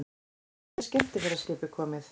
Fyrsta skemmtiferðaskipið komið